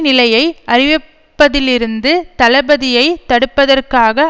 நிலையை அறிவிப்பதிலிருந்து தளபதியை தடுப்பதற்காக